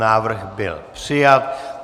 Návrh byl přijat.